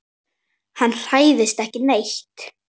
Hann hræðist ekki neitt.